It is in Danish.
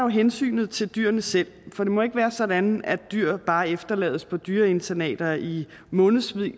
hensynet til dyrene selv for det må ikke være sådan at dyr bare efterlades på dyreinternater i månedsvis